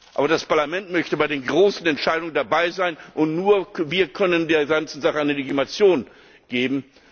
Aber das Parlament möchte bei den großen Entscheidungen dabei sein, und nur wir können der ganzen Sache eine Legitimation geben.